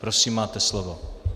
Prosím, máte slovo.